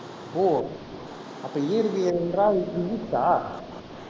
ஓ அப்போ இயற்பியல் என்றால் physics ஆ